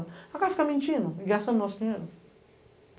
O cara fica mentindo e gastando nosso dinheiro.